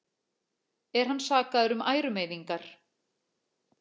Er hann sakaður um ærumeiðingar